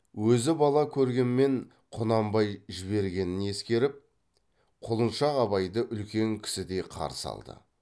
өзі бала көргенмен құнанбай жібергенін ескеріп құлыншақ абайды үлкен кісідей қарсы алды